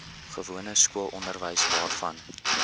gewone skoolonderwys waarvan